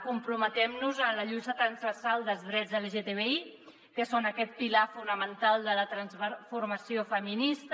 comprometent nos en la lluita transversal dels drets lgtbi que són aquest pilar fonamental de la transformació feminista